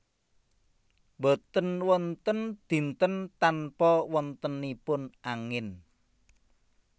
Boten wonten dinten tanpa wontenipun angin